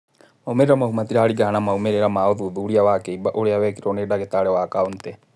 Moimĩrĩra mau matiraringa na moimĩrĩra ma ũthuthuria wa kĩimba ũrĩa wekirũo nĩ ndagĩtari wa Kaũntĩ.